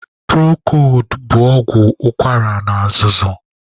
Prokod bụ ọgwụ ụkwara na azụzụ.